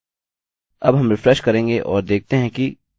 अब हम रिफ्रेश करेंगे और देखते हैं कि यह गायब हो गए हैं